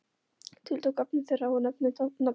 Tiltók efni þeirra og nefndi nafn þitt.